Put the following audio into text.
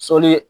Sɔli